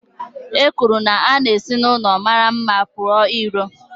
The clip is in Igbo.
E kwuru na a na-esi n'ụlọ mara mma pụọ ìró